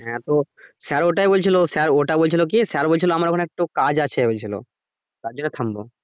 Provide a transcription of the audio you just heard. হ্যা তো sir ওটাই বলছিলো sir ওটাই বলছিলো কি sir আমর ওখানে একটু কাজ আছে বলছিলো তারজন্য থামব।